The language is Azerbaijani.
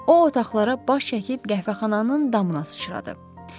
O otaqlara baş çəkib qəhvəxananın damına sıçradı.